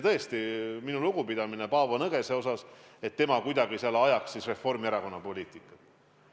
Tõesti, minu lugupidamine Paavo Nõgesele – ei saa öelda, et ta oleks kuidagi ajanud Reformierakonna poliitikat.